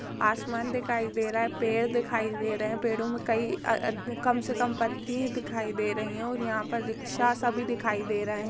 आसमान दिखाई दे रहा है पेड़ दिखाई दे रहा है पेड़ो मे कई अ अ कम से कम पत्ती ही दिखाई दे रही है और यहाँ पर रिक्शा सभी दिखाई दे रहे है।